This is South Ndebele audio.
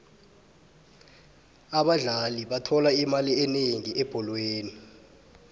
abadlali bathola imali enengi ebholweni